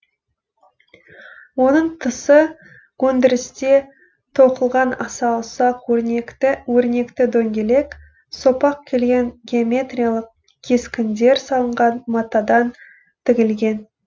оның тысы өндірісте тоқылған аса ұсақ өрнекті дөңгелек сопақ келген геометриялық кескіндер салынған матадан тігілген